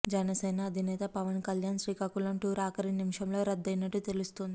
జనసేన అధినేత పవన్ కళ్యాణ్ శ్రీకాకుళం టూర్ ఆఖరి నిమిషంలో రద్దయినట్టు తెలుస్తోంది